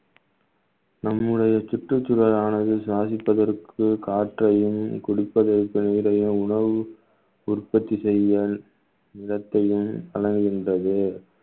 நம்முடைய சுற்றுச்சூழலானது சுவாசிப்பதற்கு காற்றையும் குடிப்பதற்கு இடையே உணவு உற்பத்தி செய்ய இடத்திலும் வழங்குகின்றது